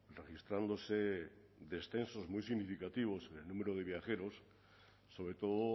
registrándose descensos muy significativos en el número de viajeros sobre todo